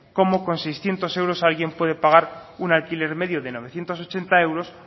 cómo con seiscientos euros alguien puede pagar un alquiler medio de novecientos ochenta euros